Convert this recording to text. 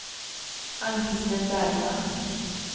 Ann-Kristin Bergman